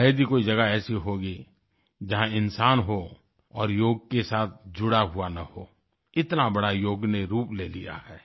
शायद ही कोई जगह ऐसी होगी जहाँ इंसान हो और योग के साथ जुड़ा हुआ न हो इतना बड़ा योग ने रूप ले लिया है